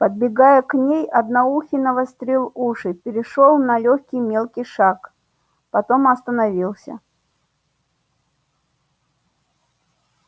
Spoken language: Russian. подбегая к ней одноухий навострил уши перешёл на лёгкий мелкий шаг потом остановился